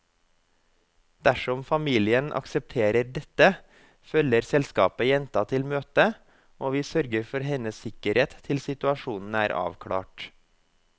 Dersom familien aksepterer dette, følger selskapet jenta til møtet, og vi sørger for hennes sikkerhet til situasjonen er avklart.